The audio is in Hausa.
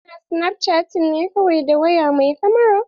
Ana snapchatting ne kawai da waya mai kamara.